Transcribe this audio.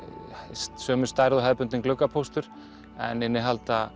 sömu stærð og hefðbundinn gluggapóstur en innihalda